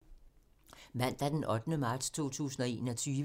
Mandag d. 8. marts 2021